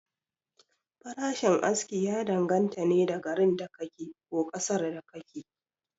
Farashin aski ya dan ganta ne da garin da ka ke, ko ƙasar da ka ke